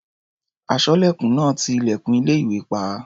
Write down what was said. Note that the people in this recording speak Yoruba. Aṣọ́lẹ̀kùn náà ń ti ilẹ̀kùn ilé-ìwé pa.